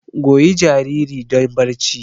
Goyi jariri don barci!